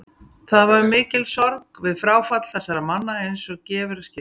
Það var mikil sorg við fráfall þessara manna eins og gefur að skilja.